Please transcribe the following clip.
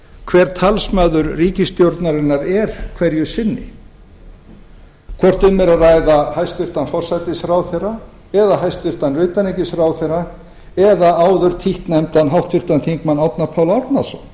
hver talsmaður ríkisstjórnarinnar er hverju sinni hvort um er að ræða hæstvirtur forsætisráðherra eða hæstvirts utanríkisráðherra eða áður títtnefndan háttvirtum þingmanni árna pál árnason